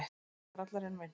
Litli grallarinn minn.